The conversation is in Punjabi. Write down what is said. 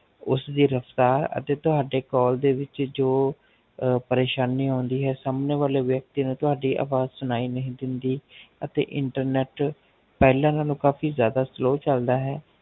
ਉਸ ਦੀ ਰਫ਼ਤਾਰ ਅਤੇ ਤੁਹਾਡੇ Call ਦੇ ਵਿੱਚ ਜੋ ਪਰਸ਼ਾਨੀ ਹੋਂਦੀ ਹੈ ਸਾਮਣੇ ਵਾਲੇ ਵਿਅਕਤੀ ਨੂੰ ਤੁਹਾਡੀ ਆਵਾਜ਼ ਸੁਣਾਈ ਨਹੀਂ ਦੇਂਦੀ ਅਤੇ Internet ਪਹਿਲਾ ਨਾਲ ਕਾਫ਼ੀ ਜਾਦਾ Slow ਚਲਦਾ ਹੈ